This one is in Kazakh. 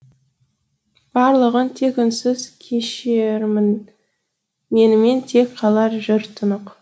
барлығын тек үнсіз кешермін менімен тек қалар жыр тұнық